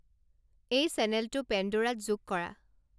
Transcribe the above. এই চেনেলটো পেণ্ডোৰাত যোগ কৰা